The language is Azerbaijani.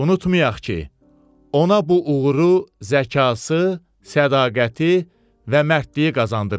Unutmayaq ki, ona bu uğuru zəkası, sədaqəti və mərdliyi qazandırmışdı.